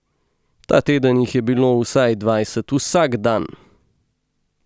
Ta teden jih je bilo vsaj dvajset vsak dan!